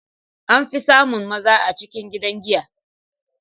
An fi samun maza a cikin gidan giya.